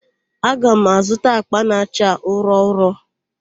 Aga m azụta àkpà na-acha ụrọ ụrọ.